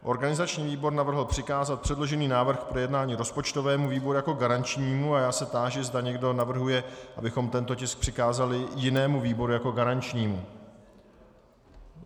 Organizační výbor navrhl přikázat předložený návrh k projednání rozpočtovému výboru jako garančnímu a já se táži, zda někdo navrhuje, abychom tento tisk přikázali jinému výboru jako garančnímu.